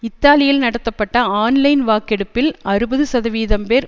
இத்தாலியில் நடத்தப்பட்ட ஆன்லைன் வாக்கெடுப்பில் அறுபது சதவீதம் பேர்